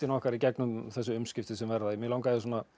okkar í gegnum þessi umskipti sem verða mig langaði